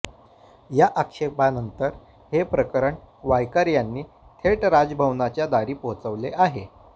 या आक्षेपानंतर हे प्रकरण वायकर यांनी थेट राजभवनाच्या दारी पोहोचवले आहे